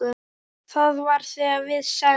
Það var þegar við send